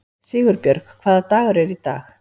Sigurbjörg, hvaða dagur er í dag?